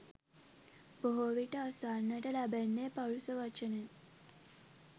බොහෝ විට අසන්නට ලැබෙන්නේ පරුෂ වචන ය.